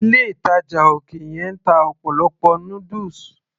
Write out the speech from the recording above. ilé ìtàjà òkè yẹn ń ta ọ̀pọ̀lọpọ̀ noodles